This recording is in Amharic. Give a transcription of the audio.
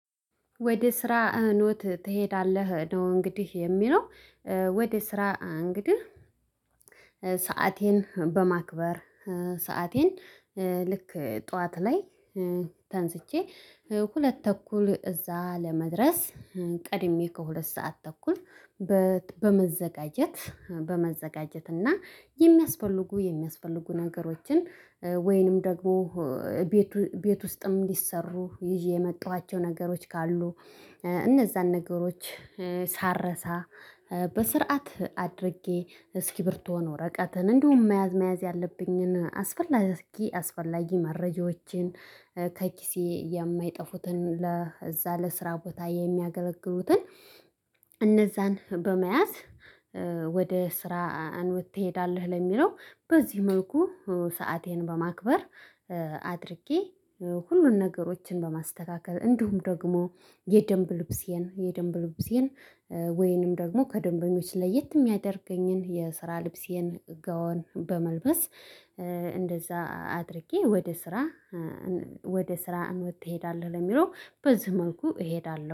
ወደ ስራ ኖት ትሄዳለህ ነው እንግዲህ የሚለው። ወደ ስራ እንግዲህ ሰአቴን በማክበር፣ ሰአቴን ልክ ጠዋት ላይ ተንስቼ ሁለት ተኩል እዛ ለመድረስ ቀድሜ ከሁለት ሰዓት ተኩል በመዘጋጀት፣ በመዘጋጀት እና የሚያስፈልጉ፣ የሚያስፈልጉ ነገሮችን ወይንም ደግሞ ቤቱ ቤት ቤት ውስጥም እንዲሰሩ ይዤ የመጣኋቸው ነገሮች ካሉ እነዛን ነገሮች ሳረሳ በስርዓት አድርጌ እስኪብርቶን ወረቀትን እንዲሁም መያዝ፣ መያዝ ያለብኝን አስፈላጊ፣ አስፈላጊ መረጃዎችን ከኪሴ የማይጠፉትን ለዛ ለስራ ቦታ የሚያገለግሉትን እነዛን በመያዝ ወደ ስራ ትሄዳለህ ለሚለው በዚህ መልኩ ሰአቴን በማክበር አድርጌ ሁሉን ነገሮችን በማስተካከል እንዲሁም ደግሞ የደንብ ልብሴን፣ የደንብ ልብሴን ወይንም ደግሞ ከደንበኞች ለየት የሚያደርገኝን የስራ ልብሴን ገወን በመልበስ እንደዛ አድርጌ ወደ ስራ፣ ወደ ስራ እንውድ ትሄዳለህ ለሚለው በዚህ መንኩ እሄዳለሁ።